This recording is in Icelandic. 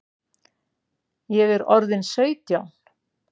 Ég er orðin sautján!